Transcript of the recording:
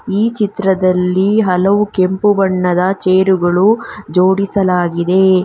ಈ ಚಿತ್ರದಲ್ಲಿ ಹಲವು ಕೆಂಪು ಬಣ್ಣದ ಚೇರುಗಳು ಜೋಡಿಸಲಾಗಿದೆ.